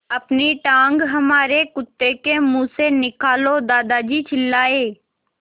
अपनी टाँग हमारे कुत्ते के मुँह से निकालो दादाजी चिल्लाए